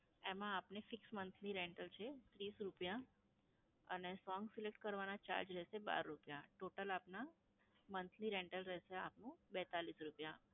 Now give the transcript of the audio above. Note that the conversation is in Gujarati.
એમાં આપને fix monthly rental છે ત્રીસ રૂપયા અને song select કરવાના charge રહેશે બાર રૂપયા. total આપના monthly rental રહેશે આપનું બેત્તાલીસ. રૂપયા.